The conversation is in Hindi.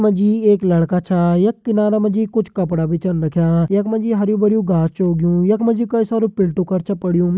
यख मा जी एक लड़का छा यख किनारा मा जी कुछ कपड़ा भी छन रख्यां यख मा जी हरयूं भरयूं घास छ उगयूं यख मा जी कई सारी पिल्टु कर छ पड़्युं।